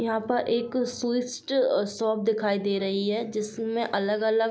यहाँ पर एक स्वीस्ट शॉप दिखाई दे रही है जिसमें अलग-अलग --